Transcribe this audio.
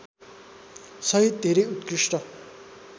सहित धेरै उत्कृष्ट